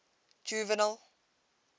juvenal